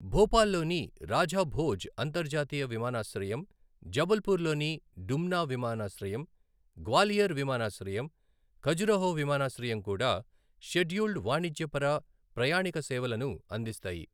భోపాల్లోని రాజా భోజ్ అంతర్జాతీయ విమానాశ్రయం, జబల్పూర్లోని డుమ్నా విమానాశ్రయం, గ్వాలియర్ విమానాశ్రయం, ఖజురహో విమానాశ్రయం కూడా షెడ్యూల్డ్ వాణిజ్యపర ప్రయాణీక సేవలను అందిస్తాయి.